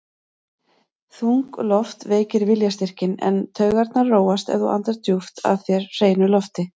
Þung loft veikir viljastyrkinn, en taugarnar róast ef þú andar djúpt að þér hreinu lofti.